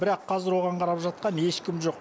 бірақ қазір оған қарап жатқан ешкім жоқ